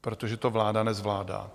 Protože to vláda nezvládá.